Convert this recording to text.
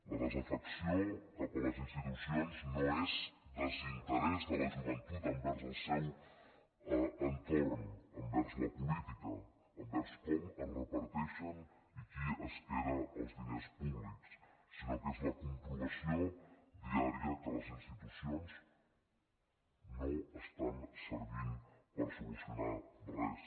la desafecció cap a les institucions no és desinterès de la joventut envers el seu entorn envers la política envers com es reparteixen i qui es queda els diners públics sinó que és la comprovació diària que les institucions no estan servint per solucionar res